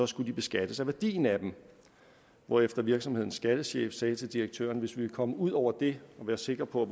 skulle de beskattes af værdien af den hvorefter virksomhedens skattechef sagde til direktøren hvis vi vil komme ud over det og være sikre på